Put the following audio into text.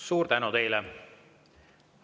Suur tänu teile!